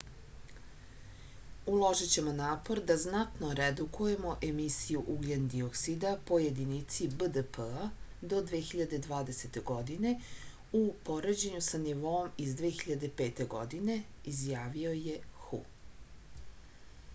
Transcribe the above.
uložićemo napor da znatno redukujemo emisiju ugljen-dioksida po jedinici bdp-a do 2020. godine u poređennju sa nivoom iz 2005. godine izjavio je hu